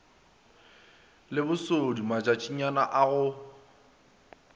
le bosodi matšatšinyana a go